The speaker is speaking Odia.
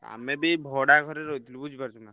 ଆମେ ବି ଏଇ ଭଡା ଘରେ ରହିଥିଲୁ ବୁଝିପାରୁଛନା।